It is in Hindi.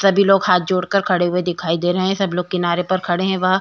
सभी लोग हात जोड़कर खड़े हुए दिखाई दे रहे है सभी लोग किनारे पर खड़े है वह-